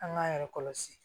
An k'an yɛrɛ kɔlɔsi